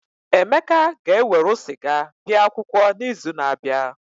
Emeka ga-ewerụ sịga bia akwụkwọ n'izu na-abịa.